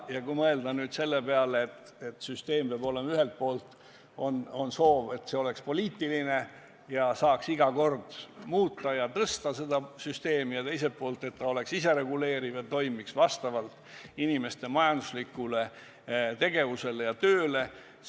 Ja kui mõelda nüüd selle peale, et see süsteem peab olema, siis ühelt poolt on soov, et see oleks poliitiline ja seda saaks iga valitsus muuta, ja teiselt poolt on soov, et süsteem oleks isereguleeriv ja toimiks vastavalt inimeste majanduslikule panusele ja tehtud tööle.